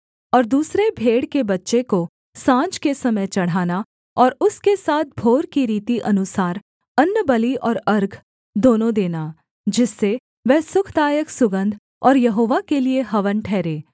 और दूसरे भेड़ के बच्चे को साँझ के समय चढ़ाना और उसके साथ भोर की रीति अनुसार अन्नबलि और अर्घ दोनों देना जिससे वह सुखदायक सुगन्ध और यहोवा के लिये हवन ठहरे